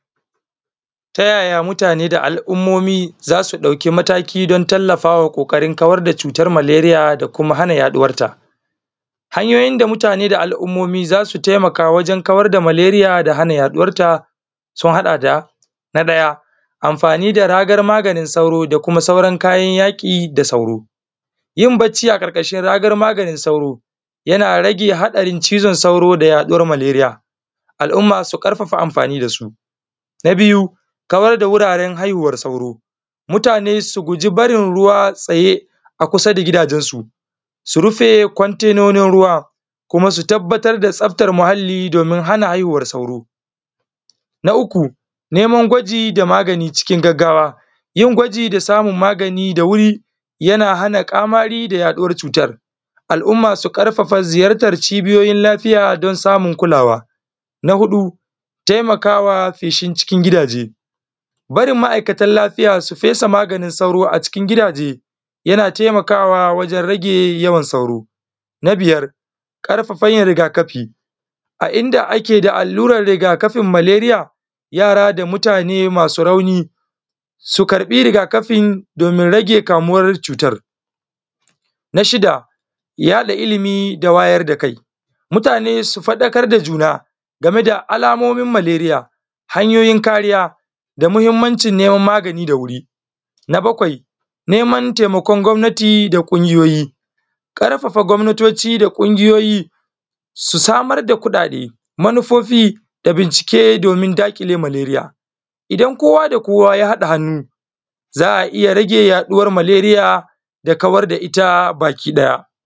Ta yaya mutane da alummomin za su ɗauki mataki tallafawa kawar da cutar maleria da kuma hana yaɗuwar ta. Hanyoyin da mutane da alummoni za su taimaka wajen kawar da hana yaɗuwar ta sun haɗa da na ɗaya. Amfani da ragar maganin sauro da kuma sauran kayan yaki da sauro. Yin baci a ƙarƙashin ragar .aganin cutar cizon sauro da yaɗuwar maleria, al'umma su nƙarfafa amfani da su. Na biyun kawar da wuraren haihuwar sauro, mutane su guji barinruwa tsaye a jikin gidajensu, su rufe container nasu ruwa kuma su tabbatar da tsaftar muhallai domin hana haihuwar sauro. Uku neman gwaji da samun magani da wuri yana hana sun kafafa ziyartar cibiyoyin laafiya don samun masu taikawa feshin cikin gidaje. Barin ma'aikatan lafiya su fesa maganin sauro a cikin gidaje yana taimakawa wajen rage yawan sauro. Na biyar, ƙarfafan yin riga -kafi a inda ake allurai riga kafin maleria yara da manya masu rauni su karɓi riga kafin domin rage kamuwar cutar. Na shida yaɗa ilimi da wayar da kai, mutane su fadakar da juna game da alamomin maleria, hanyoyin kariya da mahimmancin neman magani da wuri. Na bakwai neman taimakon gwamnati da ƙungiyoyi, kafafa gwabnatoci da ƙungiyoyi su samar da kuɗaɗe manufofi da bincike domin daƙile maleria, idan kowa da kowa ya haɗa hannu zai iya rage yaduwar maleria sa kawar da ita baki ɗaya.